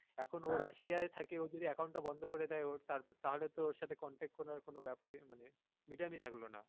এখন ও russia এ থাকে এখন যদি ও account টা বন্ধ করে দেয় ওর তাহলে তো ওর সাথে contact করার কোন ব্যাপার ই মানে medium ই থাকলো না